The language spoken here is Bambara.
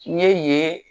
N ye yen